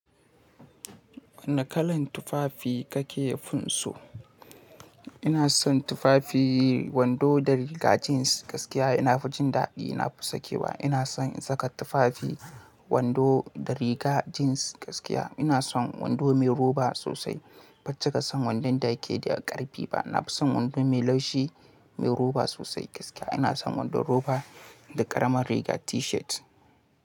Wane kalar tufafi kake fin so? Ina son tufafi wando da riga jeans gaskiya nafi jindaɗi na fi sake ba. Ina son in saka tufafi wando da riga jeans gaskiya. Ina son wando mai roba sosai. Ban cika son wandon da yake da ƙarfi ba. Na fi son wando mai laushi mai roba sosai gaskiya. Ina son wandon roba da ƙaramar riga T-shirt.